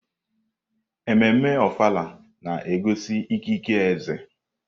Ememme Ofala na-egosi ikike eze.